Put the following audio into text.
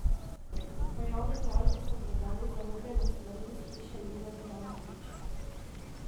Na javni dražbi so prodali zarubljene stvari iz hiše Jureta Jankovića.